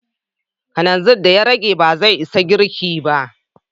Kananzir da ya rage ba zai isa girkin ba.